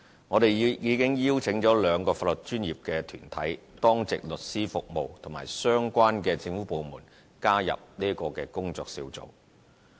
我們已邀請兩個法律專業團體、當值律師服務和相關政府部門加入這工作小組。